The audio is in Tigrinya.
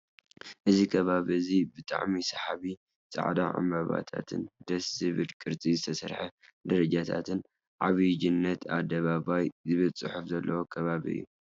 እዚ ከባቢ እዚ ብጣዕሚ ሰሓቢ ፣ ፃዕዳ ዕበባታትን ደስ ብዝብል ቅርፂ ዝተሰርሐ ደረጃታትን ዓብዩጅነት ኣደባባይ ዝብል ፅሑፍ ዘለዎ ከባቢ እዩ።